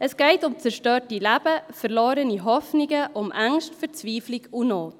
Es geht um zerstörte Leben, verlorene Hoffnungen, um Ängste, Verzweiflung und Not.